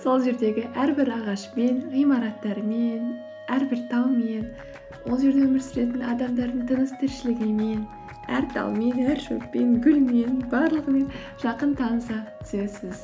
сол жердегі әрбір ағашпен ғимараттармен әрбір талмен ол жерде өмір сүретін адамдардың тыныс тіршілігімен әр талмен әр шөппен гүлмен барлығымен жақын таныса түсесіз